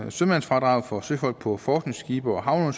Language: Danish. sømandsfradrag for søfolk på forskningsskibe og